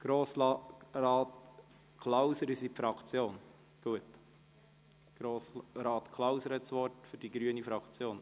Grossrat Klauser, Sie sprechen für die grüne Fraktion.